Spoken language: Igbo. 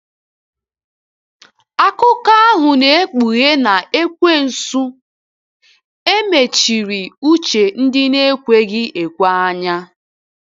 Akụkọ ahụ na-ekpughe na Ekwensu “ e mechiri uche ndị na-ekweghị ekwe anya. ”